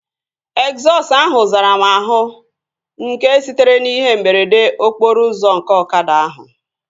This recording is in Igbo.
Egzọsụ ahụ zara m àhú nke sitere n'ihe mberede okporo ụzọ nke ọkada ahụ